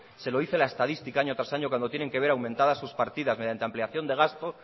se lo dice la estadística año tras año cuando tienen que ver aumentadas sus partidas mediante ampliación de gasto